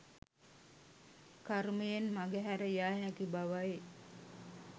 කර්මයෙන් මගහැර යා හැකි බවයි.